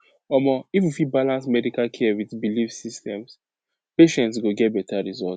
omo if we fit balance medical care with belief systems patients go get better result